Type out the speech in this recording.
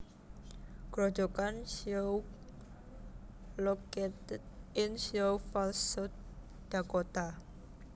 Grojogan Sioux located in Sioux Falls South Dakota